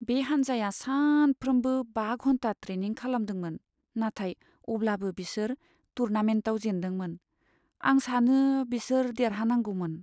बे हान्जाया सानफ्रोमबो बा घन्टा ट्रेनिं खालामदोंमोन, नाथाय अब्लाबो बिसोर टुरनामेन्टआव जेनदोंमोन। आं सानो बिसोर देरहानांगौमोन।